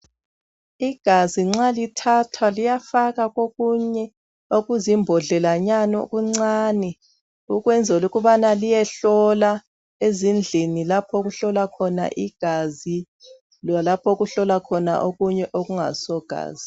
Igazi nxa lithathwa liyafakwa kokunye okuzimbodlelanyana okuncane ukwenzela ukubana liyehlola ezindlini lapho okuhlolwa khona igazi lalapho okuhlolwa khona okunye okungaso gazi.